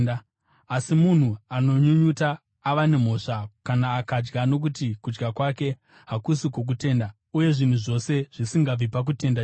Asi munhu anonyunyuta ava nemhosva kana akadya nokuti kudya kwake hakusi kwokutenda; uye zvinhu zvose zvisingabvi pakutenda chivi.